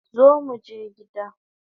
Zo muje gida